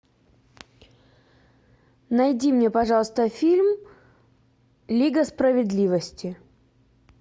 найди мне пожалуйста фильм лига справедливости